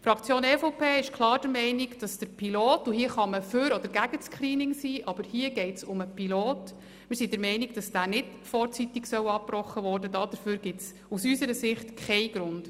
Die Fraktion EVP ist klar der Meinung, dass das Pilotprogramm nicht vorzeitig abgebrochen werden soll, dafür gibt es aus unserer Sicht keinen Grund – unabhängig davon, ob man nun für oder ein Screening ist.